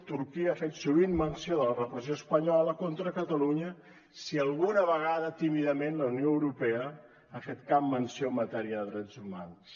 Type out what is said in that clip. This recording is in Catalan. turquia ha fet sovint menció de la repressió espanyola contra catalunya si alguna vegada tímidament la unió europea ha fet cap menció en matèria de drets humans